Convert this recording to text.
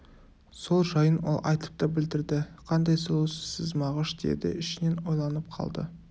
сол жайын ол айтып та білдірді қандай сұлусыз сіз мағыш деді ішінен ойланып қалды